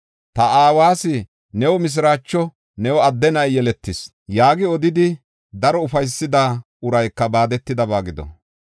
Ta aawas, “New mishiraacho; new adde na7i yeletis!” yaagi odidi, daro ufaysida urayka baadetidaba gido!